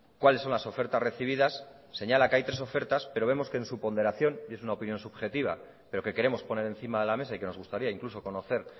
cuáles son las ofertas recibidas señala que hay tres ofertas pero vemos que en su ponderación y es una opinión subjetiva pero que queremos poner encima de la mesa y que nos gustaría incluso conocer